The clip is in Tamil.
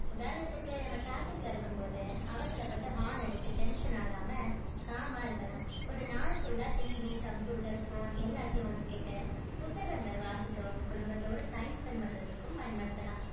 உதாரணத்துக்கு நம்ம traffic ல இருக்கும் போது அவசரப்பட்டு horn அடிச்சு tension ஆகாம calm ஆ இருக்கலாம் ஒரு நாள் full ஆ TV computer phone எல்லாத்தையும் ஒதிக்கிட்டு புத்தகங்கள் வாசிக்கவும் குடும்பத்தோடு time spend பண்றதுக்கும் பயணப்படுத்தலாம்.